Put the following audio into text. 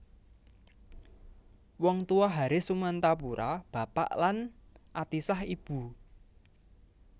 Wong Tuwa Haris Sumantapura bapak lan Atisah ibu